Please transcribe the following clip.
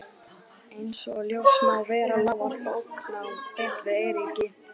Einsog ljóst má vera lá allt bóknám beint við Eiríki.